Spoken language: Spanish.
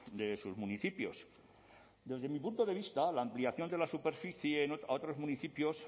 de sus municipios desde mi punto de vista la ampliación de la superficie a otros municipios